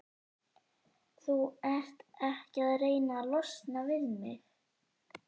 Þú ert ekki að reyna að losna við mig?